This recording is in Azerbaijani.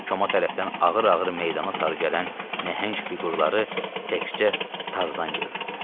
Koma tərəfdən ağır-ağır meydana sarı gələn nəhəng fiqurları təkcə Tarzan görürdü.